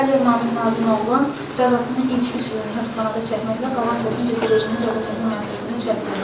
Əliyev Nahid Nazim oğlu cəzasının ilk üç ilini həbsxanada çəkməklə qalan 16 ilini cəzaçəkmə müəssisəsində çəksin.